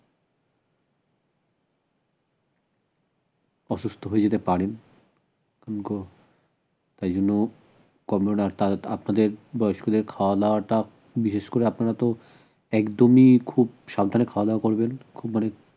অসুস্থ হয়ে যেতে পারেন তাই জন্য আপনাদের বয়স্কদের খাওয়া দাওয়াত বিশেষ করে আপনারা তো একদমই খুব সাবধানে খাওয়া দাওয়া করবেন খুব মানে